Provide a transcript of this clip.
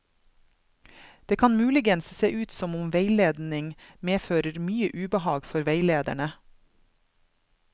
Det kan muligens se ut som om veiledning medfører mye ubehag for veilederne.